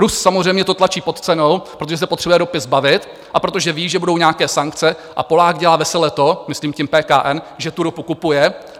Rus samozřejmě to tlačí pod cenou, protože se potřebuje ropy zbavit a protože ví, že budou nějaké sankce, a Polák dělá vesele to, myslím tím PKN, že tu ropu kupuje.